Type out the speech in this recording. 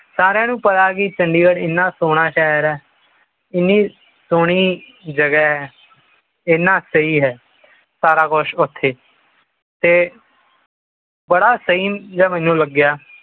ਸਾਰਿਆਂ ਨੂੰ ਪਤਾ ਚੰਡੀਗੜ੍ਹ ਏਨਾ ਸੋਹਣਾ ਸ਼ਹਿਰ ਹੈ। ਏਨਾ ਸੋਹਣਾ ਸ਼ਹਿਰ ਹੈ। ਇਨ੍ਹਾਂ ਸਹੀ ਹੈ। ਸਾਰਾ ਕੁਛ ਐਥੇ ਤੇ ਬੜਾ ਸਹੀ ਜਾ ਮੈਨੂੰ ਲਗਿਆ